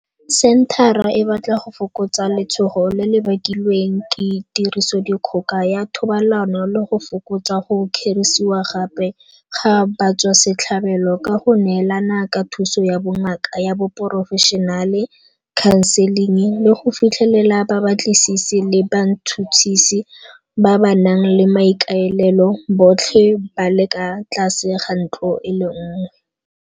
Senthara e batla go fokotsa letshogo le le bakilweng ke tirisodikgoka ya thobalano le go fokotsa go kgerisiwa gape ga batswasetlhabelo ka go neelana ka thuso ya bongaka ya porofešinale, khanseling, le go fitlhelela babatlisisi le batšhotšhisi ba ba nang le maikaelelo, botlhe ba le ka tlase ga ntlo e le nngwe.